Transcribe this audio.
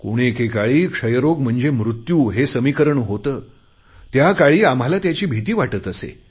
कोणे एकेकाळी क्षयरोग म्हणजेच मृत्यू हे समीकरण होते त्याकाळी आम्हाला त्याची भिती वाटत असे